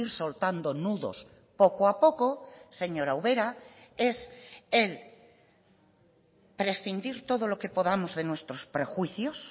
soltando nudos poco a poco señora ubera es el prescindir todo lo que podamos de nuestros prejuicios